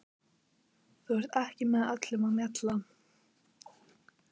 Þú ert ekki með öllum mjalla